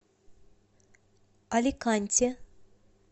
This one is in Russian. аликанте